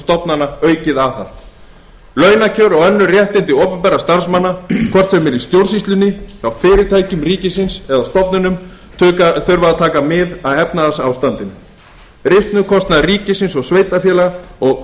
stofnana aukið aðhald launakjör og önnur réttindi opinberra starfsmanna hvort sem er í stjórnsýslunni hjá fyrirtækjum ríkisins eða stofnunum þurfa að taka mið af efnahagsástandinu risnukostnað ríkisins og sveitarfélaga og